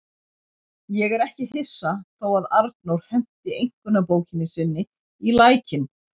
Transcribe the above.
Ég er ekki hissa þó að Arnór henti einkunnabókinni sinni í lækinn.